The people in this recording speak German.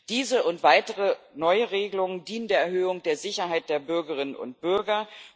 Diese und weitere neue Regelungen dienen der Erhöhung der Sicherheit der Bürgerinnen und Bürger.